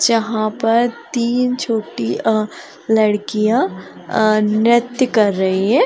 जहाँ पर तीन छोटी अ लड़कियाँ अ नृत्य कर रही हैं।